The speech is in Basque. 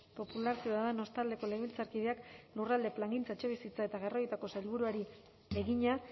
popularra ciudadanos taldeko legebiltzarkideak lurralde plangintza etxebizitza eta garraioetako sailburuari egina